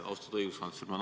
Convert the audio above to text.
Austatud õiguskantsler!